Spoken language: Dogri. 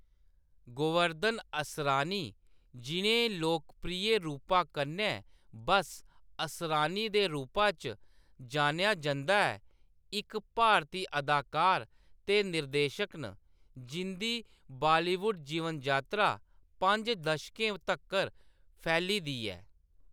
गोवर्धन असरानी, जिʼनें लोकप्रिय रूपा कन्नै बस्स असरानी दे रूपा च जानेआ जंदा ऐ, इक भारती अदाकार ते निर्देशक न, जिंʼदी बालीवुड जीवन-जातरा पंज दशकें तक्कर फैली दी ऐ।